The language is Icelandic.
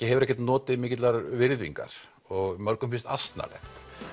hefur ekki notið mikillar virðingar og mörgum finnst asnalegt